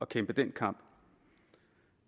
kæmpe den kamp